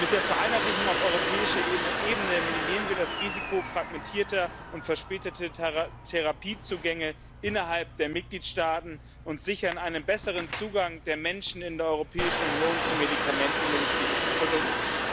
Mit der Vereinheitlichung auf europäischer Ebene minimieren wir das Risiko fragmentierter und verspäteter Therapiezugänge innerhalb der Mitgliedstaaten und sichern einen besseren Zugang der Menschen in der Europäischen Union zu Medikamenten und medizinischen Produkten.